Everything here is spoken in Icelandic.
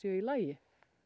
í lagi